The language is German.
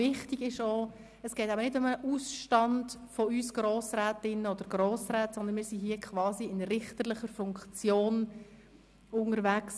Wichtig ist auch, dass es nicht um einen Ausstand von uns als Grossrätinnen und Grossräten geht, sondern wir haben hier quasi eine richterliche Funktion inne.